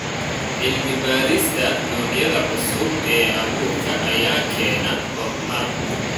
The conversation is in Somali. Cilmi-baarista noocyada cusub ee abuurka ayaa keena horumar.